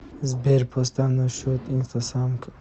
сбер поставь на счет инстасамка